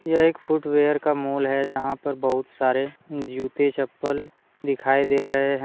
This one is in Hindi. यह एक फुटवेयर का मोल है जहां पर बहुत सारे जूते चप्पल दिखाई दे रहे हैं।